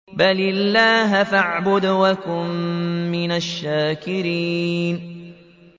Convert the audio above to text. بَلِ اللَّهَ فَاعْبُدْ وَكُن مِّنَ الشَّاكِرِينَ